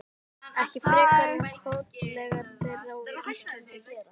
Ekki frekar en kollegar þeirra á Íslandi gera.